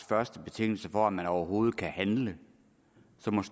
første betingelse for at man overhovedet kan handle